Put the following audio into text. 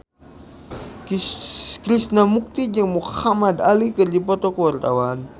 Krishna Mukti jeung Muhamad Ali keur dipoto ku wartawan